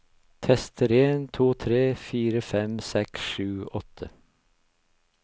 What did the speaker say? Tester en to tre fire fem seks sju åtte